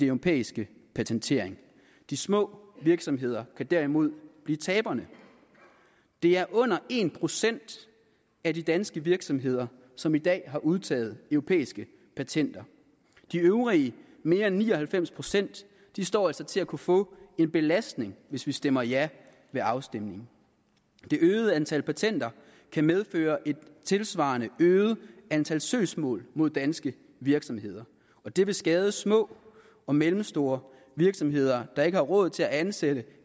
europæiske patentering de små virksomheder kan derimod blive taberne det er under en procent af de danske virksomheder som i dag har udtaget europæiske patenter de øvrige mere end ni og halvfems procent står altså til at kunne få en belastning hvis vi stemmer ja ved afstemningen det øgede antal patenter kan medføre et tilsvarende øget antal søgsmål mod danske virksomheder og det vil skade små og mellemstore virksomheder der ikke har råd til at ansætte